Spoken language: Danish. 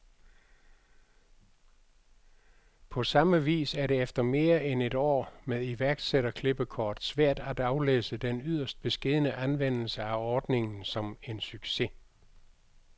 På samme vis er det efter mere end et år med iværksætterklippekort svært at aflæse den yderst beskedne anvendelse af ordningen som en succes.